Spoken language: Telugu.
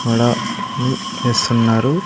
ఆడ ఉమ్ వేస్తున్నారు.